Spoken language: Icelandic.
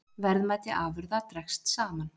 Verðmæti afurða dregst saman